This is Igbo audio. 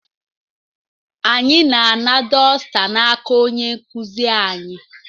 Anyị na-ana dosita n'aka onye nkuzi anyị.